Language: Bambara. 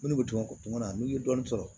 Minnu bɛ tɛmɛ kuma na n'i ye dɔɔnin sɔrɔ